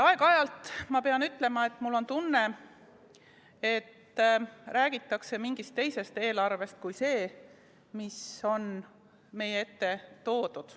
Aeg-ajalt, pean ütlema, on mul tunne, et räägitakse mingist teisest eelarvest kui see, mis on meie ette toodud.